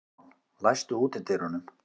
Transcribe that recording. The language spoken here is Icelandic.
Maríon, læstu útidyrunum.